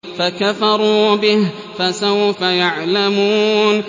فَكَفَرُوا بِهِ ۖ فَسَوْفَ يَعْلَمُونَ